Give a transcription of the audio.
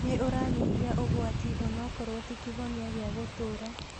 Nĩũranyihia ũgwati onokorwo ti kĩhonia gĩa gũtũra